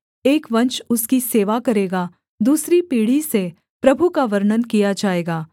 एक वंश उसकी सेवा करेगा दूसरी पीढ़ी से प्रभु का वर्णन किया जाएगा